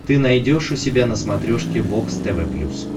ты найдешь у себя на смотрешке бокс тв плюс